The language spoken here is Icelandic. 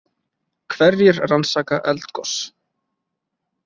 Hverjir rannsaka eldgos?